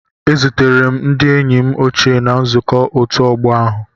A zutere m ndị enyi m ochie na nzukọ ọtu ogbo ahu.